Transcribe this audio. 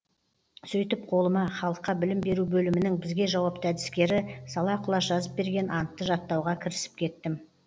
сөйтіп қолыма халыққа білім беру бөлімінің бізге жауапты әдіскері сала құлаш жазып берген антты жаттауға кірісіп кеттім